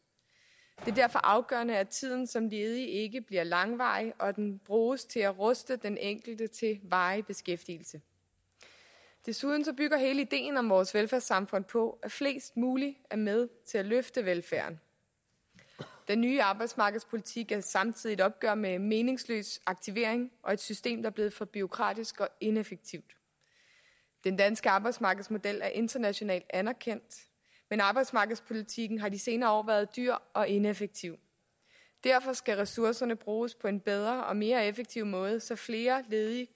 det er derfor afgørende at tiden som ledig ikke bliver langvarig og at den bruges til at ruste den enkelte til varig beskæftigelse desuden bygger hele ideen om vores velfærdssamfund på at flest mulige er med til at løfte velfærden den nye arbejdsmarkedspolitik er samtidig et opgør med meningsløs aktivering og et system der er blevet for bureaukratisk og ineffektivt den danske arbejdsmarkedsmodel er internationalt anerkendt men arbejdsmarkedspolitikken har de senere år været dyr og ineffektiv derfor skal ressourcerne bruges på en bedre og mere effektiv måde så flere ledige